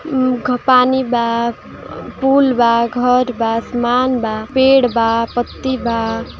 पानी बा पुल बा घर बा सामान बा पेड़ बा पत्ती बा |